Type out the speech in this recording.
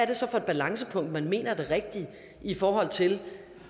det så for et balancepunkt man mener er det rigtige i forhold til